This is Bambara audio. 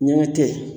Ɲɛgɛn tɛ yen